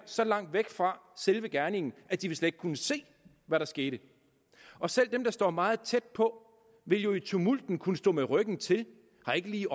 så langt væk fra selve gerningen at de slet kunnet se hvad der skete og selv dem der stod meget tæt på ville jo i tumulten have kunnet stå med ryggen til og ikke lige